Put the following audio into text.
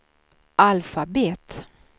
alfabet